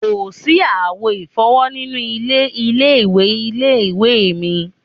Kò sí àwo ìfọ́wọ́ nínú ilé ilé-ìwẹ̀ ilé-ìwé mi